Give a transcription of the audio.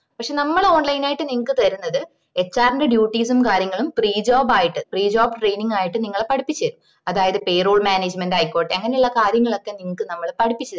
പക്ഷെ നമ്മള് online ആയിട്ട് നിങ്ങക്ക് തരുന്നത് HR ന്റെ duties ഉം കാര്യങ്ങളും free ആയിട്ട് pre job training ആയിട്ട് നിങ്ങളേ പഠിപ്പിച്ചേരും അതായത് payrol management ആയിക്കോട്ടെ അങ്ങനെ ഉള്ള കാര്യങ്ങളൊക്കെ നിനക്കു നമ്മള് പഠിപ്പിച്ചേരും